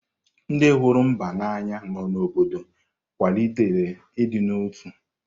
Ndị hụrụ mba n’anya nọ n’obodo kwalitere ịdị n’otu.